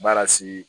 Baara sigi